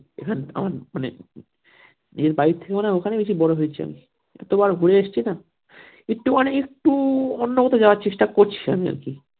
নিজের বাড়ির থেকে মনে হয় ওখানেই বেশি বড়ো হয়েছি আমি যতবার ঘুরে এসছি না একটু মানে একটু অন্যকোথাও যাওয়ার চেষ্টা করছি আমি আর কি